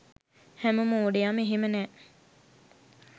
හැම මෝඩයම එහෙම නෑ